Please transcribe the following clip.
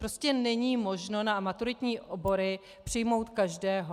Prostě není možno na maturitní obory přijmout každého.